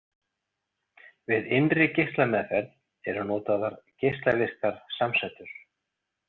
Við innri geislameðferð eru notaðar geislavirkar samsætur.